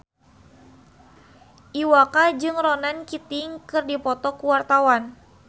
Iwa K jeung Ronan Keating keur dipoto ku wartawan